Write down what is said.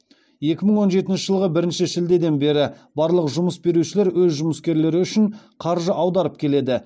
екі мың он жетінші жылғы бірінші шілдеден бері барлық жұмыс берушілер өз жұмыскерлері үшін қаржы аударып келеді